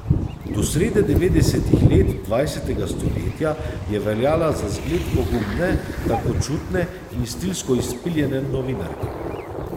Do srede devetdesetih let dvajsetega stoletja je veljala za zgled pogumne, tankočutne in stilsko izpiljene novinarke.